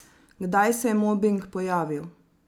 Kdaj se je mobing pojavil?